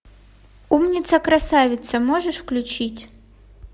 умница красавица можешь включить